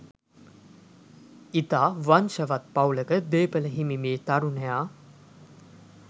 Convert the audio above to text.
ඉතා වංශවත් පවුලක දේපළ හිමි මේ තරුණයා